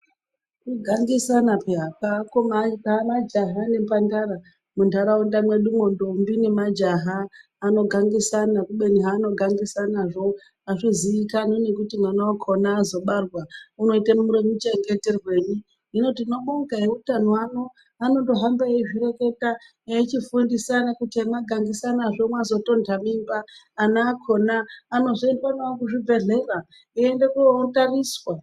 Kugangisana peya kweakoma kwemajaha nemhandara munharaunda mwedumwo ndombi nemajaha anogangisana kubeni zvaanogangisanazvo azviziikanwi kuti mwana wakona azobarwa inoite muchengeterwei hino tinobonga eutano anao anondohamba eizvireketa eichifundisa kuti hemagangisanazvo mazotonda mimba ana akona anozoendwa nawo kuzvibhedhlera eienda kotariswa.